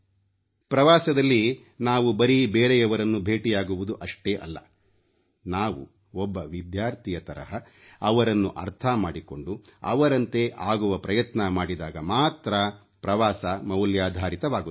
ಪ್ರವಾಸದಲ್ಲಿ ನಾವು ಬರೀ ಬೇರೆಯವರನ್ನು ಭೇಟಿಯಾಗುವುದು ಅಷ್ಟೇ ಅಲ್ಲ ನಾವು ಒಬ್ಬ ವಿದ್ಯಾರ್ಥಿಯ ತರಹ ಅವರನ್ನು ಅರ್ಥ ಮಾಡಿಕೊಂಡು ಅವರಂತೆ ಆಗುವ ಪ್ರಯತ್ನ ಮಾಡಿದಾಗ ಮಾತ್ರ ಪ್ರವಾಸ ಮೌಲ್ಯಾಧಾರಿತವಾಗುತ್ತದೆ